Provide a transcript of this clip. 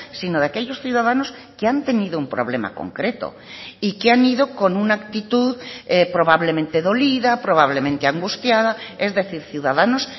sino de aquellos ciudadanos que han tenido un problema concreto y que han ido con una actitud probablemente dolida probablemente angustiada es decir ciudadanos